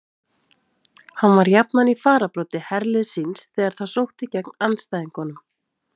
Hann var jafnan í fararbroddi herliðs síns þegar það sótti gegn andstæðingunum.